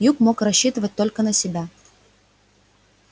юг мог рассчитывать только на себя